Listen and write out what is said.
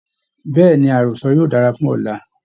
Bẹ̀ẹ́ni, àrọ́sọ yóò dára fún ọ̀la.